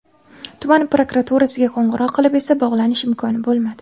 Tuman prokuraturasiga qo‘ng‘iroq qilib esa bog‘lanish imkoni bo‘lmadi.